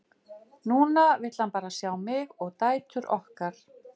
Núna vill hann bara sjá mig og dætur okkar.